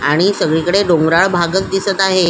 आणि सगळी कडे डोंगराळ भागच दिसत आहे.